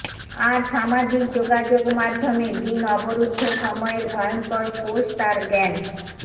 আর সামাজিক যোগাযোগ মাধ্যমে দিন অবরুদ্ধ সময়ের ভয়ঙ্কর পোস্ট আর জ্ঞান